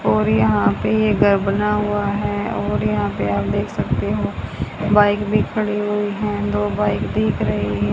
और यहां पर ये घर बना हुआ है और यहां पर आप देख सकते हो बाइक भी खड़ी हुई हैं दो बाइक दिख रही हैं।